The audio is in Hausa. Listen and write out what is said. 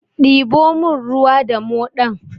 Diɓo mun ruwa da moɗan!